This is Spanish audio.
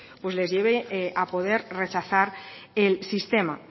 pues les lleve a poder rechazar el sistema